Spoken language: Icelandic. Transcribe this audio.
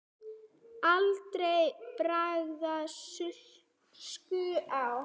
Aldrei bar skugga á.